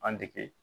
An dege